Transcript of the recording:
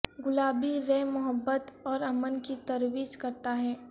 گلابی رے محبت اور امن کی ترویج کرتا ہے